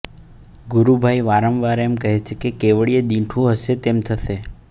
ગુરુભાઈ વારંવાર એમ કહે છે કે કેવળીએ દીઠું હશે તેમ થશે